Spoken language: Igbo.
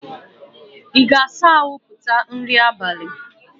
Ị ga-asa ahụ tupu nri abalị?